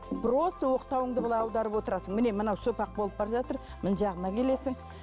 просто оқтауыңды былай аударып отырасың міне мынау сопақ болып бара жатыр мына жағына келесің